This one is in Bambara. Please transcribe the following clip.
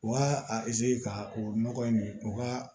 U b'a a ka o nɔgɔ in u ka